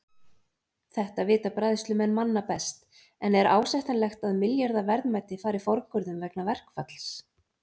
Þetta vita bræðslumenn manna best en er ásættanlegt að milljarða verðmæti fari forgörðum vegna verkfalls?